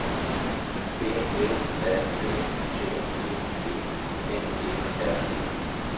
B L A D T E G N E R E